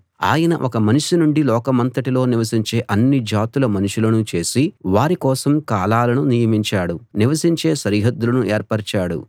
ఆయన ఒక్క మనిషి నుండి లోకమంతటిలో నివసించే అన్ని జాతుల మనుషులను చేసి వారి కోసం కాలాలను నియమించాడు నివసించే సరిహద్దులను ఏర్పరిచాడు